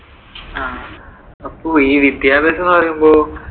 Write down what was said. ആഹ് അപ്പോ ഈ വിദ്യാഭ്യാസം എന്ന് പറയുമ്പോ